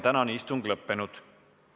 Tänane istung on lõppenud.